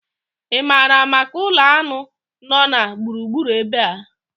Ị maara maka ụlọ aṅụ nọ na gburugburu ebe a?